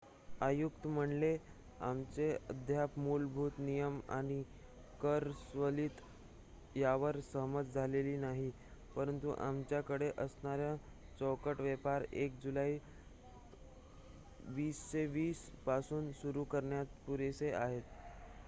आयुक्त म्हणाले आमचे अद्याप मुलभूत नियम आणि कर सवलती यावर सहमत झालेलो नाही परंतु आमच्याकडे असणारे चौकट व्यापार 1 जुलै 2020 पासून सुरु करण्यास पुरेसे आहे